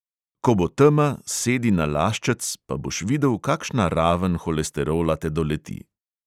Ko bo tema, sedi na laščec, pa boš videl, kakšna raven holesterola te doleti.